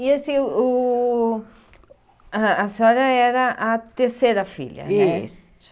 E assim, uh a a senhora era a terceira filha, né? Isso.